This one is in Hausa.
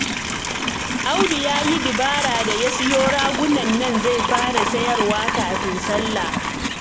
Audu ya yi dabara da ya sayo ragunan nan zai fara sayarwa kafin sallah